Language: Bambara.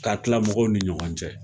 K'a kila mɔgɔw ni ɲɔgɔn cɛ